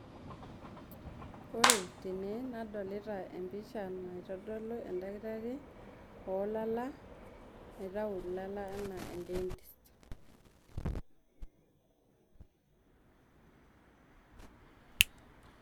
ore tene nadolita empisha naitodolu endakitari oolala naitau ilala enaa endentist..